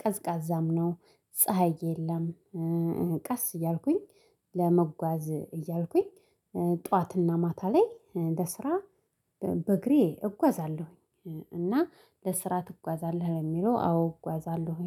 ቀዝቃዛም ነው ፀሀይ የለም። ቀስ እያልኩኝ ለመጓዝ እያልኩኝ ጠዋትና ማታ ላይ ለስራ በእግሬ እጓዛለሁኝ። እና ለስራ ትጓዛለህ የሚለው አዎ እጓዛለሁኝ።